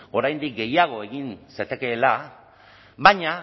oraindik gehiago egin zatekeela baina